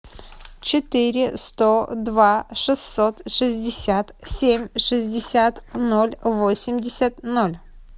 четыре сто два шестьсот шестьдесят семь шестьдесят ноль восемьдесят ноль